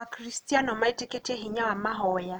Akristiano metĩkĩtie hinya wa mahoya.